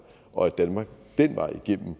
og at danmark den vej igennem